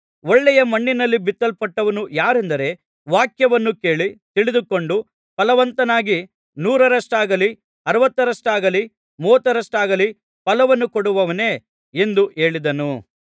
ಒಳ್ಳೆಯ ಮಣ್ಣಿನಲ್ಲಿ ಬಿತ್ತಲ್ಪಟ್ಟಂಥವನು ಯಾರೆಂದರೆ ವಾಕ್ಯವನ್ನು ಕೇಳಿ ತಿಳಿದುಕೊಂಡು ಫಲವಂತನಾಗಿ ನೂರರಷ್ಟಾಗಲಿ ಅರವತ್ತರಷ್ಟಾಗಲಿ ಮೂವತ್ತರಷ್ಟಾಗಲಿ ಫಲವನ್ನು ಕೊಡುವವನೇ ಎಂದು ಹೇಳಿದನು